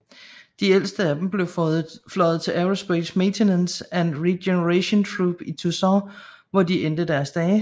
De ældste af dem blev fløjet til Aerospace Maintenance and Regeneration Group i Tucson hvor de endte deres dage